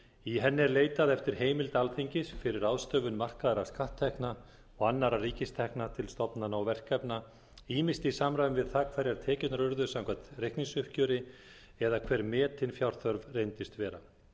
í henni er leitað eftir heimild alþingis fyrir ráðstöfun markaðra skatttekna og annarra ríkistekna til stofnana og verkefna ýmist í samræmi við það hverjar tekjurnar urðu samkvæmt reikningsuppgjöri eða hver metin fjárþörf reyndist vera